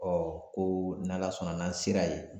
ko n'Ala sɔnna n'an sera yen